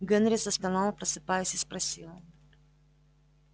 генри застонал просыпаясь и спросил